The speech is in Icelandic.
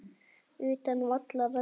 Utan vallar: aldrei.